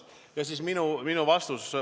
Ja siis minu vastus.